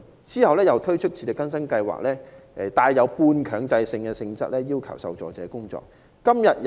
及後又推出自力更生支援計劃，帶半強制性質，要求受助者工作。